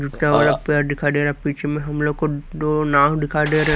इतना बड़ा पेड़ दिखाई दे रहा है पीछे में हम लोग को दो नाव दिखाई दे रहा हैं।